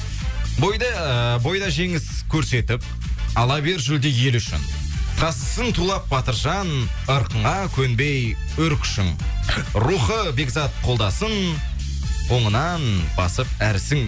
бойда ыыы бойда жеңіс көрсетіп ала бер жүлде ел үшін тасысын тулап батыржан ырқыңа көнбей өр күшің рухы бекзат қолдасын оңынан басып әр ісің